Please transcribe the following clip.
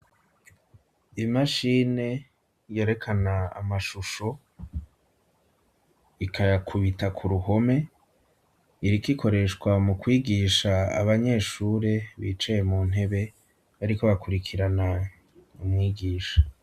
Imashine yerekana amashusho, ikayakubita ku ruhome, iriko ikoreshwa mu kwigisha abanyeshure bicaye mu ntebe, bariko bakurikirana umwigisha.